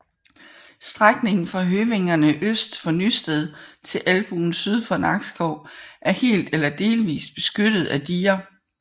Strækningen fra Høvængerne øst for Nysted til Albuen syd for Nakskov er helt eller delvist beskyttet af diger